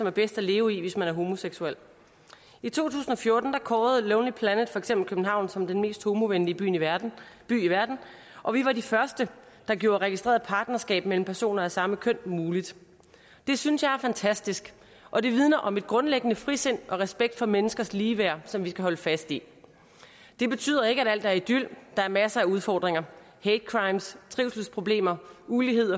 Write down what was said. er bedst at leve i hvis man er homoseksuel i to tusind og fjorten kårede lonely planet for eksempel københavn som den mest homovenlige by i verden og vi var de første der gjorde registreret partnerskab mellem personer af samme køn muligt det synes jeg er fantastisk og det vidner om et grundlæggende frisind og en respekt for menneskers ligeværd som vi skal holde fast i det betyder ikke at alt er idyl der er masser af udfordringer hate crimes trivselsproblemer ulighed